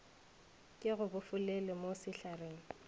ke go bofelele mo sehlareng